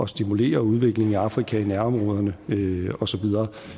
stimulere udviklingen i afrika i nærområderne og så videre